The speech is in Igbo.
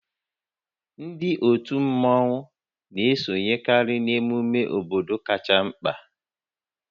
Ndị otu mmọnwu na-esonyekarị n'ememe obodo kacha mkpa